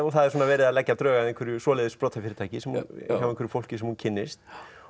það er verið að leggja drög að einhverju sprotafyrirtæki hjá einhverju fólki sem hún kynnist